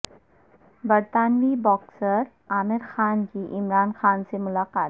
برطانوی باکسر عامر خان کی عمران خان سے ملاقات